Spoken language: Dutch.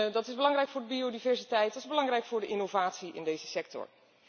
Dat is belangrijk voor biodiversiteit, dat is belangrijk voor de innovatie in deze sector.